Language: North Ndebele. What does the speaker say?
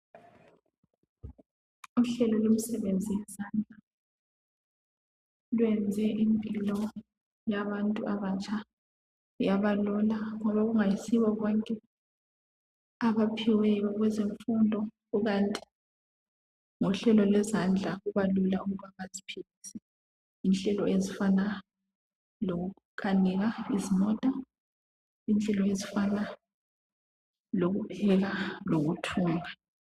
uhlelo lemisebenzi yezadla lwenze impilo yabantu abatsha yaba lula ngoba kungayisibo bonke abaphiweyo kwezemfundo kukanti ngohlelo lwezandla kubalula ukuthi baziphilise ngenhlelo ezifana lokukanika izimota inhlelo ezifana lokupheka lokufunda